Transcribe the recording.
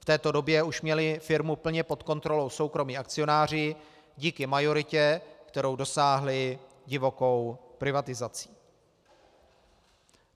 V této době už měli firmu plně pod kontrolou soukromí akcionáři díky majoritě, kterou dosáhli divokou privatizací.